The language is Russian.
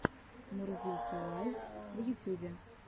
мурзилки лайв в ютюбе